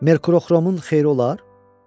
Merkuroxromun xeyri olar?